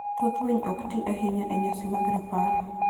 Thoth winy ok ti ahinya e nyasi mag rapar.